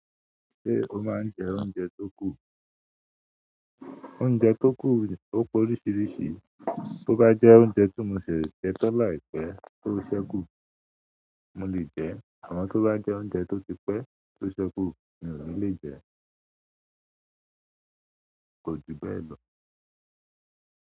Ṣé o máa ń jẹ oúnjẹ tó kù? Oúnjẹ tó kù ó pe oríṣiríṣi. Tó bá jẹ́ oúnjẹ tó mo sẹ jẹ̀ tan láìpẹ́ tó ṣẹ́kù, mo lè jẹ́. Amo to ba jẹ oúnjẹ to ti pe to sekun mi o ni le jẹ kò ju bẹ́ẹ̀ lọ.